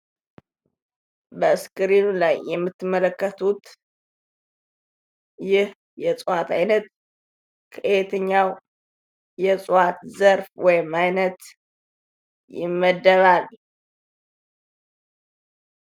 ምስሉ ላይ የምንመለከተው ከየትኛው የእፅዋት አይነት ይመደባል?